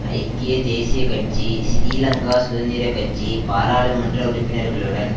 ஐக்கிய தேசிய கட்சி சிறீலங்கா சுதந்திர கட்சி பாராளுமன்ற உறுப்பினர்களுடன்